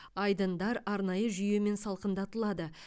айдындар арнайы жүйемен салқындатылады